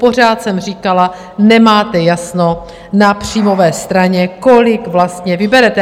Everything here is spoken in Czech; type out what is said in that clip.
Pořád jsem říkala: Nemáte jasno na příjmové straně, kolik vlastně vyberete.